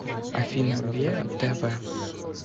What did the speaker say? афина веа тэ вэ